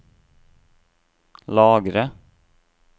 lagre